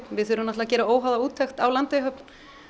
við þurfum að gera óháða úttekt á Landeyjahöfn